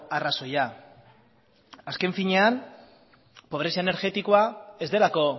arrazoia azken finean pobrezia energetikoa ez delako